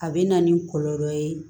A bɛ na ni kɔlɔlɔ ye